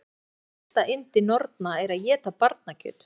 Allir vita að mesta yndi norna er að éta barnakjöt.